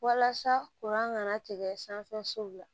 Walasa kana tigɛ sanfɛ sow la